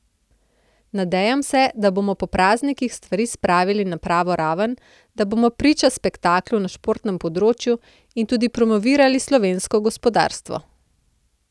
Nadejam se, da bomo po praznikih stvari spravili na pravo raven, da bomo priča spektaklu na športnem področju in tudi promovirali slovensko gospodarstvo.